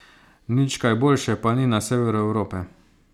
Nič kaj boljše pa ni na severu Evrope.